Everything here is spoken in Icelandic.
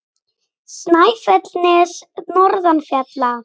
Snæfellsnes norðan fjalla.